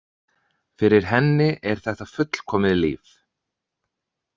Fyrir henni er þetta fullkomið líf.